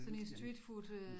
Sådan en streetfood øh